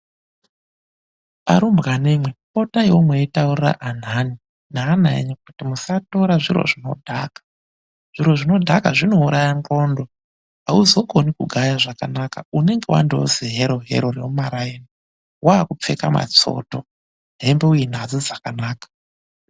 Arumbwanemwi potaiwo meitaurira anhani neana enyu kuti musatora zviro zvinodhaka. Zviro zvinodhaka zvinouraya ndxondo, auzokoni kugaya zvakanaka unenge wandoo zihero-hero remumaraini. Waakupfeka matsoto, hembe uinadzo dzakanaka.